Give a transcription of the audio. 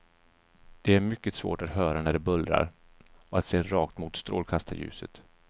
Det är mycket svårt att höra när det bullrar och att se rakt mot strålkastarljuset.